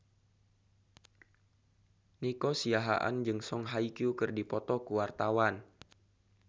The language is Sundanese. Nico Siahaan jeung Song Hye Kyo keur dipoto ku wartawan